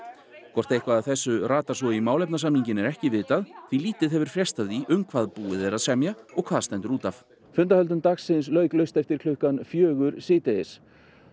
hvort eitthvað af þessu ratar svo í málefnasamninginn er ekki vitað því lítið hefur frést af því um hvað er búið að semja og hvað stendur út af fundahöldum dagsins lauk laust eftir klukkan fjögur síðdegis